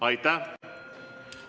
Aitäh!